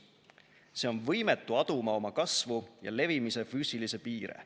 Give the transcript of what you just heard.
See on võimetu aduma oma kasvu ja levimise füüsilisi piire.